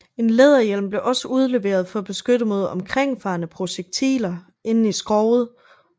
En læderhjelm blev også udleveret for at beskytte mod omkringfarende projektiler inde i skroget